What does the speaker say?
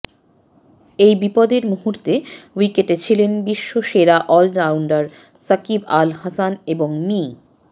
এই বিপদের মুহূর্তে উইকেটে ছিলেন বিশ্বসেরা অলরাউন্ডার সাকিব আল হাসান এবং মি